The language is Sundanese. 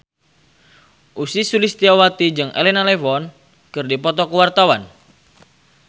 Ussy Sulistyawati jeung Elena Levon keur dipoto ku wartawan